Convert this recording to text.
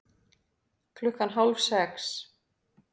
Klukkan hálf sex